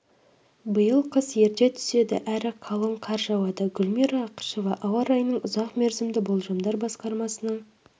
биыл қыс ерте түседі әрі қалың қар жауады гүлмира ақышева ауа райының ұзақ мерзімді болжамдар басқармасының